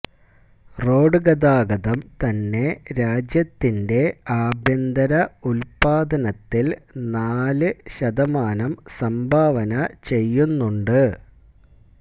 road ഗതാഗതം തന്നെ രാജ്യത്തിന്റെ ആഭ്യന്തര ഉല്പാദനത്തില് നാല് ശതമാനം സംഭാവന ചെയ്യുന്നുണ്ട്